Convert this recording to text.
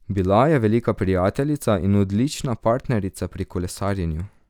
Bila je velika prijateljica in odlična partnerica pri kolesarjenju.